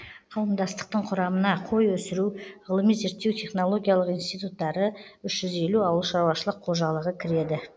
қауымдастықтың құрамына қой өсіру ғылыми зерттеу технологиялық институттары үш жүз елу ауыл шаруашылық қожалығы кіреді